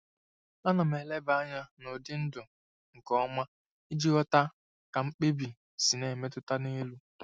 Ana m eleba anya n'ụdị ndu nke ọma iji ghọta ka mkpebi si na-emetụta n'elu.